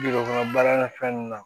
kɔnɔ baara na fɛn ninnu na